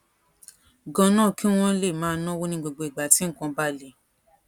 ganan kí wón lè máa náwó ní gbogbo ìgbà tí nǹkan bá le